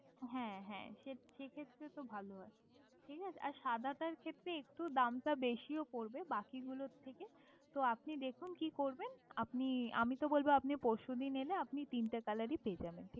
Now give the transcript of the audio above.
ঠিক আছে হ্যাঁ হ্যাঁ সে সেক্ষেত্রে তো ভালো হয় ঠিক আছে ম্যাডাম আর সাদাটার দাম একটু বেশি পড়বে বাকি গুলোর থেকে তো আপনি দেখুন কি করবেন? আপনি আমি তো বলবো আপনি পরশু দিন এলে আপনি তিনটে কালারই পেয়ে যাবেন